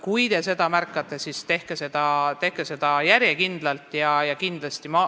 Kui te seda märkate, siis andke sellest järjekindlalt teada.